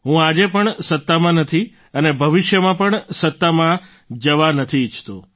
હું આજે પણ સત્તામાં નથી અને ભવિષ્યમાં પણ સત્તામાં જવા નથી ઈચ્છતો